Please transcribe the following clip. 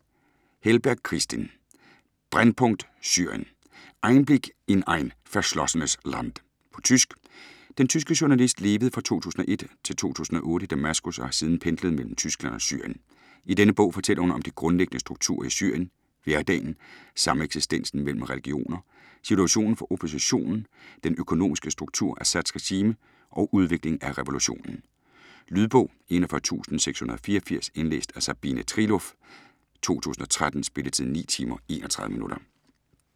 Helberg, Kristin : Brennpunkt Syrien: Einblick in ein verschlossenes Land På tysk. Den tyske journalist levede fra 2001-2008 i Damaskus og har siden pendlet mellem Tyskland og Syrien. I denne bog fortæller hun om de grundlæggende strukturer i Syrien: hverdagen, sameksistensen mellem religioner, situationen for oppositionen, den økonomiske struktur, Assads regime og udvikling af revolutionen. Lydbog 41684 Indlæst af Sabine Trieloff, 2013. Spilletid: 9 timer, 31 minutter.